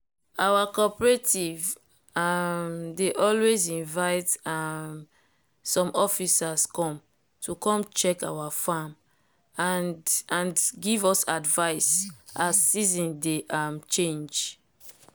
our cooperative um dey always invite um some officers come to come check our farm and and give us advice as season dey um change.